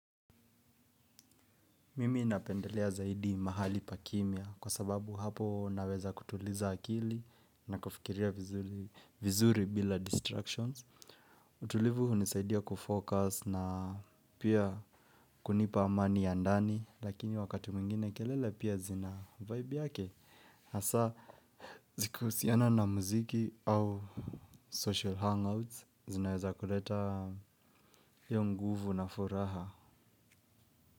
Mimi napendelea zaidi mahali pa kimya kwa sababu hapo naweza kutuliza akili na kufikiria vizuri bila distractions. Utulivu hunisaidia kufocus na pia kunipa amani ya ndani lakini wakati mwingine kelele pia zina vibe yake. Hasa zikihusiana na mziki au social hangouts zinaweza kuleta iyo nguvu na furaha.